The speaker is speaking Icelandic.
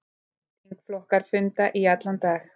Þingflokkar funda í allan dag